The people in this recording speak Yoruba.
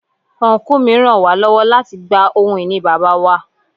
Ọnkú mi ràn wá lọ́wọ́ láti gba ohun ìní Bàbá wa.